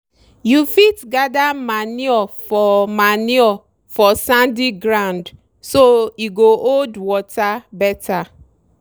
you fit gather manure for manure for sandy ground so e go hold water better.